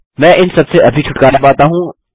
मैं इन सबसे अभी छुटकारा पाता हूँ